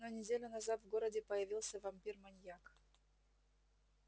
но неделю назад в городе появился вампир-маньяк